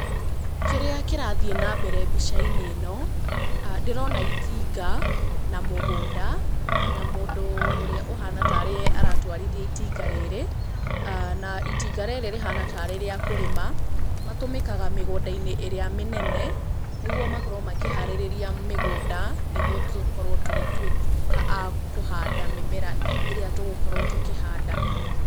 Kĩrĩa kĩrathiĩ na mbere mbica-inĩ ĩno, ndĩrona itinga na mũgũnda, na mũndũ ũrĩa ũhana tarĩ ye aratwarithia itinga rĩrĩ. Na itinga rĩrĩ rĩhana tarĩ rĩa kũrĩma, matũmĩkaga mĩgũnda-inĩ ĩrĩa mĩnene, nĩguo makorwo makĩharĩrĩria mĩgũnda, nĩguo tũkorwo tũgĩtũĩka a kũhanda mĩmera ĩrĩa tũgũkorwo tũkĩhanda.